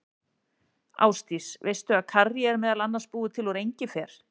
Ásdís, veistu að karrí er meðal annars búið til úr engifer?